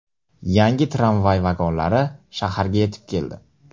Yangi tramvay vagonlari shaharga yetib keldi.